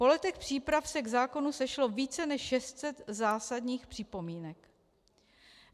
Po letech příprav se k zákonu sešlo více než 600 zásadních připomínek.